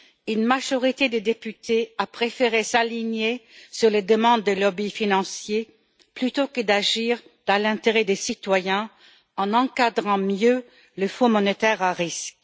Une majorité de députés a préféré s'aligner sur les demandes des lobbies financiers plutôt que d'agir dans l'intérêt des citoyens en encadrant mieux les fonds monétaire à risque.